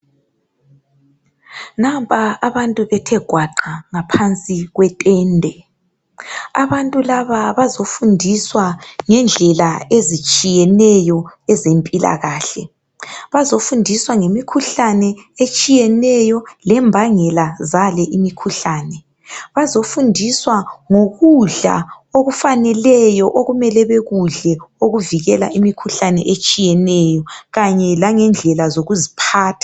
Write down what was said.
nampa abantu bethe gwaqa phansi kwetende abantu laba bazofundiswa ngendlela ezitshiyeneyo ezempilakahle bazofundiswa ngemikhuhlane etshiyeneyo lembangela zale imikhuhlane bazofundiswa ngokudla okufaneleyo okumele bekudle okuvikela imikhuhlane etshiyeneyo kanye langendlela zokuziphatha